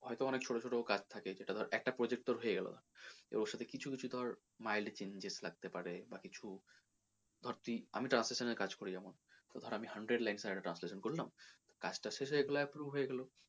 হয়তো অনেক ছোটো ছোটো কাজ থাকে যেটা ধর একটা project তোর হয়ে গেলো এবার ওর সাথে তোর কিছু কিছু তোর mild changes লাগতে পারে বা কিছু বা ধর তোর আমি translation এর কাজ করি যেমন তো ধর আমি hundred lines এর হয়তো translation করলাম কাজ টা শেষ হয়ে গেলে approve হয়ে গেলো।